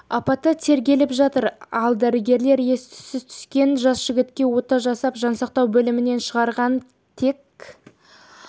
апаты тергеліп жатыр ал дәрігерлер ес-түссіз түскен жас жігітке ота жасап жансақтау бөлімінен шығарғанын тек